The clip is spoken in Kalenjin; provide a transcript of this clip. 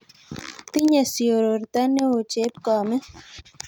Tinye siororto neo chepkomet